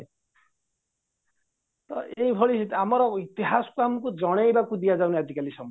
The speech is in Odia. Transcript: ତ ଏଇଭଳି ଆମର ଇତିହାସ ଆମକୁ ଜଣେଇବାକୁ ଦିଆଯାଉନି ଆଜିକାଲି ସମୟରେ